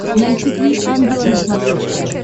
найти три ангела на смотрешке